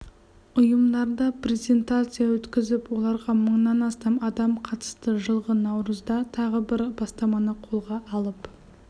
ұйымдарда презентация өткізіп оларға мыңнан астам адам қатысты жылғы наурызда тағы бір бастаманы қолға алып